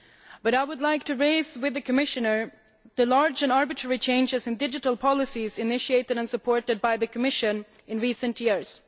But I would like to raise with the Commissioner the large and arbitrary changes in digital policies which have been initiated and supported by the Commission in recent years.